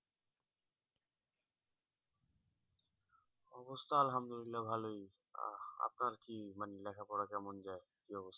অবস্থা আলহামদুলিল্লাহ ভালোই আহ আপনার কি মানে লেখাপড়া কেমন যায়